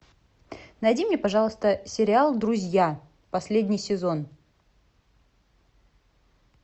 найди мне пожалуйста сериал друзья последний сезон